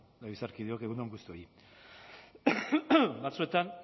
legebiltzarkideok egun on guztioi batzuetan